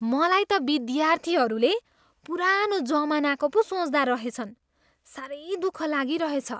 मलाई त विद्यार्थीहरूले पुरानो जमानाको पो सोच्दा रहेछन्। साह्रै दुःख लागिरहेछ।